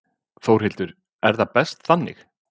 Þórhildur: Er það best þannig?